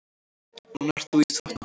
Núna ert þú í þvottahúsinu.